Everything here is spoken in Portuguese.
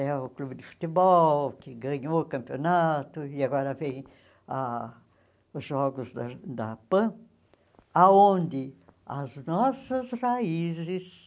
É o clube de futebol que ganhou o campeonato e agora vem ah os jogos da da PAN, aonde as nossas raízes